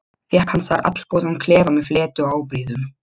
Fékk hann þar allgóðan klefa með fleti og ábreiðum.